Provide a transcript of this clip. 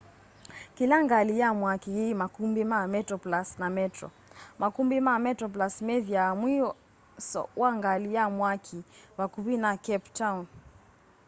kila ngali ya mwaki yi makumbi ma metroplus na metro makumbi ma metroplus methiawa mwiso wa ngali ya mwaki vakuvi na cape town